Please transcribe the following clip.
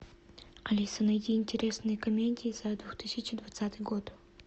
алиса найди интересные комедии за две тысячи двадцатый год